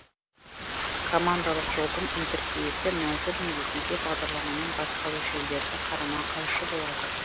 командалық жолдың интерфейсі мәзір негізінде бағдарламаның басқару жүйелеріне қарама қайшы болады